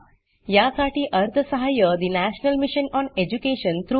यासाठी national mission on education through I